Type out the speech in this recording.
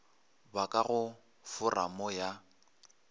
ba ka go foramo ya